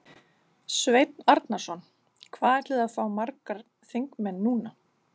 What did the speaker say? Sveinn Arnarson: Hvað ætliði að fá margar þingmenn núna?